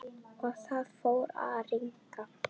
Og það fór að rigna.